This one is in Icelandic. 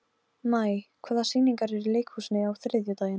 Farðu bara og talaðu við krossinn á gröfinni hans.